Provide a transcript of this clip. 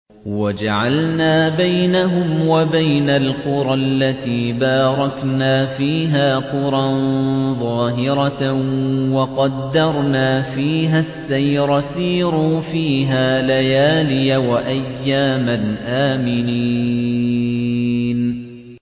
وَجَعَلْنَا بَيْنَهُمْ وَبَيْنَ الْقُرَى الَّتِي بَارَكْنَا فِيهَا قُرًى ظَاهِرَةً وَقَدَّرْنَا فِيهَا السَّيْرَ ۖ سِيرُوا فِيهَا لَيَالِيَ وَأَيَّامًا آمِنِينَ